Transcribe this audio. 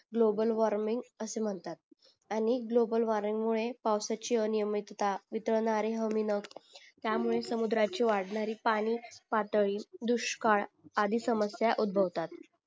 global warming असे म्हणतात आणि ग्लोबल वॉर्मिंग मुळे पावसाची अनियमितता वितळणारे हमी नाब त्यामुळे समुद्राची वाढणारी पाणी पातळी दुष्काळ आदि समस्या उदभवतात